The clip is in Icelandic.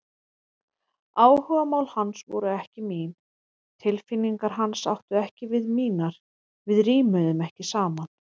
Áhugamál hans voru ekki mín, tilfinningar hans áttu ekki við mínar, við rímuðum ekki saman.